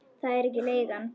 Það er ekki leigan.